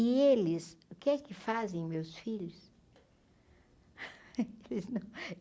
E eles, que é que fazem, meus filhos?